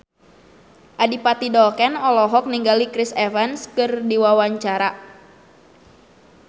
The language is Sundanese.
Adipati Dolken olohok ningali Chris Evans keur diwawancara